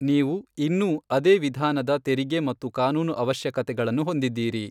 ನೀವು ಇನ್ನೂ ಅದೇ ವಿಧಾನದ ತೆರಿಗೆ ಮತ್ತು ಕಾನೂನು ಅವಶ್ಯಕತೆಗಳನ್ನು ಹೊಂದಿದ್ದೀರಿ .